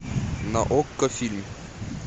на окко фильм